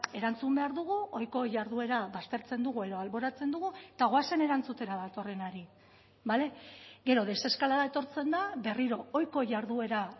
erantzun behar dugu ohiko jarduera baztertzen dugu edo alboratzen dugu eta goazen erantzutera datorrenari bale gero deseskalada etortzen da berriro ohiko jarduera